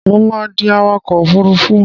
Mo máa di awakọ̀ òfurufú.